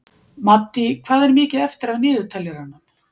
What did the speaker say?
Maddý, hvað er mikið eftir af niðurteljaranum?